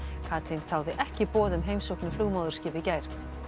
Katrín þáði ekki boð um heimsókn í flugmóðurskip í gær